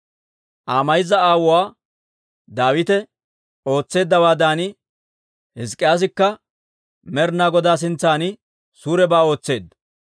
Aa mayza aawuwaa Daawite ootseeddawaadan, Hizk'k'iyaasikka Med'ina Godaa sintsan suurebaa ootseedda.